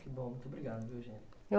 Ô, muito obrigado, viu. Eu